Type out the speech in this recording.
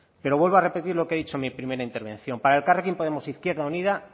pero vuelvo a repetir lo que he dicho en mi primera intervención para elkarrekin podemos e izquierda unida